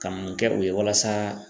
Ka mun kɛ o ye walasa